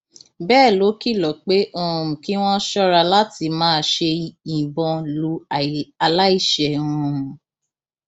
bẹẹ ló kìlọ pé um kí wọn ṣọra láti má ṣe yìnbọn lu aláìṣẹ um